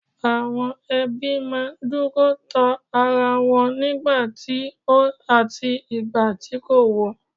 Àwọn ẹbí ma n duro to ara wọn nigba ti ó en àti ìgbà tí kò wọ̀